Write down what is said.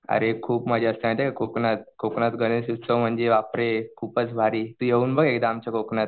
अरे खूप मजा असते माहितीये कोकणात. कोकणात गणेश उत्सव म्णजे बापरे खूपच भारी तू येऊन बघ एकदा आमच्या कोकणात.